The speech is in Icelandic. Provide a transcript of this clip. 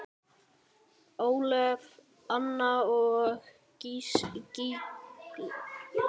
Ólöf, Anna og Gígja.